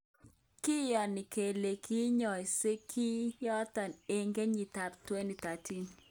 Kiyoni kele kiyoosek kiy yoton eng kenyitab 2013.